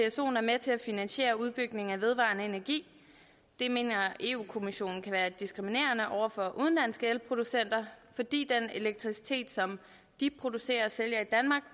at psoen er med til at finansiere udbygningen af vedvarende energi det mener europa kommissionen kan være diskriminerende over for udenlandske elproducenter fordi den elektricitet som de producerer